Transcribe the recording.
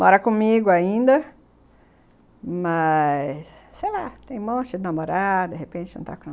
Mora comigo ainda, mas sei lá, tem um monte de namorada, de repente jantar com a